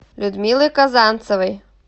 людмилой казанцевой